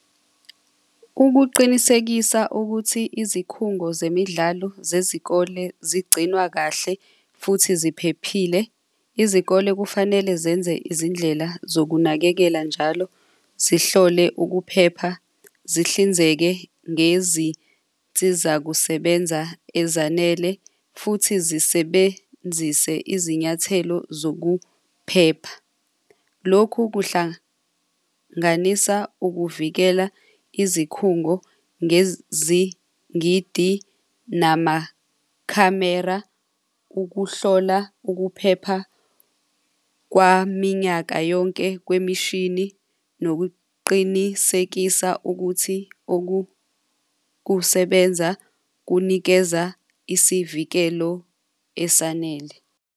Ukuqinisekisa ukuthi izikhungo zemidlalo zezikole zigcinwa kahle futhi ziphephile, izikole kufanele zenze izindlela zokunakekela njalo zihlole ukuphepha, zihlinzeke ngezinsizakusebenza ezanele futhi zisebenzise izinyathelo zokuphepha. Lokhu kuhlanganisa ukuvikela izikhungo ngezingidi namakhamera ukuhlola ukuphepha kwaminyaka yonke kwemishini nokuqinisekisa ukuthi okukusebenza kunikeza isivikelo esanele.